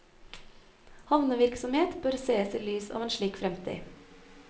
Havnevirksomhet bør sees i lys av en slik fremtid.